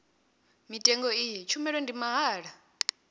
mutengo iyi tshumelo ndi mahala